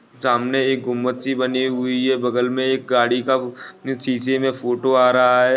सामने एक गुंबद सी बनी हुई है बगल में एक गाड़ी का शीशे में फोटो आ रहा है।